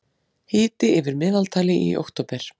Hiti yfir meðaltali í október